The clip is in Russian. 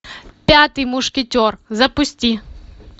пятый мушкетер запусти